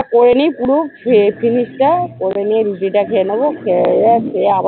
করে নি পুরো, খেয়ে করে রুটিটা খেয়ে নেবো খেয়ে খেয়ে আবার